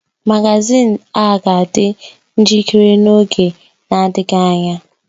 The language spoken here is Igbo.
Magazin a ga-adị njikere n’oge na-adịghị anya.